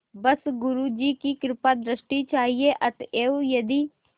बस गुरु जी की कृपादृष्टि चाहिए अतएव यदि